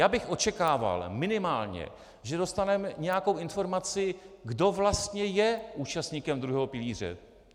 Já bych očekával minimálně, že dostaneme nějakou informaci, kdo vlastně je účastníkem druhého pilíře.